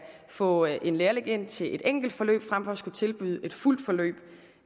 få en lærling ind til et enkelt forløb frem for at skulle tilbyde et fuldt forløb